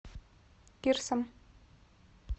кирсом